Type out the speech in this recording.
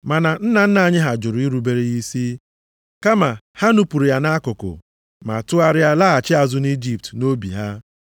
“Ma nna nna anyị ha jụrụ irubere ya isi. Kama ha nupuru ya nʼakụkụ, ma tụgharịa laghachi azụ nʼIjipt nʼobi ha,